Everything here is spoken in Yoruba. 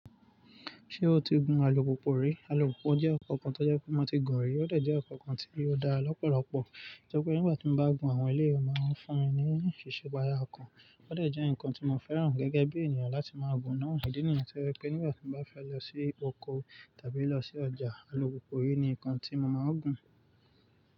Ṣé o ti gun alùpùpù rí? Alùpùpù jẹ́ ọkọ̀ kan tó jẹ́ pé ó mo ti gun rí, ó dẹ̀ jẹ́ ọkọ̀ kan tí ó dára lọ́pọ̀lọpọ̀. Ó jẹ́ pé nígbà tí mo bá gun àwọn eléyì ó máa ń fún mi ní ìṣípayá ọkàn. Ó dẹ̀ jẹ́ ǹkan tí mo fẹ́ràn geegee bí ènìyàn láti má gun náà. Ìdí nìyẹn tó jẹ́ pé nígbà tí mo bá fẹ́ lọ sí oko tàbí lọ sí ọjà, alùpùpù rí ní ǹkan tí mo máa ń gun.